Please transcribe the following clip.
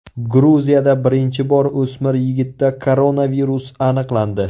Gruziyada birinchi bor o‘smir yigitda koronavirus aniqlandi.